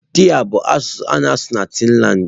Taị bụ asụsụ a na-asụ na Taịlandị.